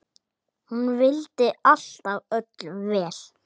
Hún vildi alltaf öllum vel.